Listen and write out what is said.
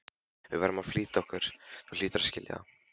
Við verðum að flýta okkur, þú hlýtur að skilja það.